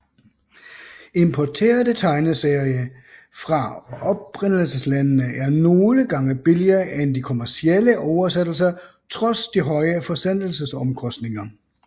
Importerede tegneserie fra oprindelseslandene er nogle gange billigere end de kommercielle oversættelser trods de høje forsendelsesomkostninger